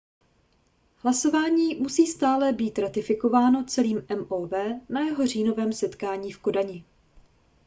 hlasování musí stále být ratifikováno celým mov na jeho říjnovém setkání v kodani